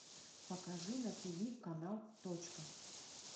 покажи на тиви канал точка